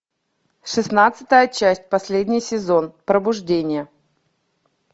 шестнадцатая часть последний сезон пробуждение